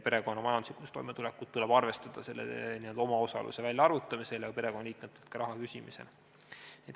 Perekonna majanduslikku toimetulekut tuleb arvestada omaosaluse väljaarvutamisel ja ka perekonnaliikmetelt raha küsimisel.